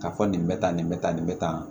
K'a fɔ nin bɛ tan nin bɛ tan nin bɛ tan